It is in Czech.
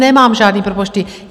Nemám žádné propočty.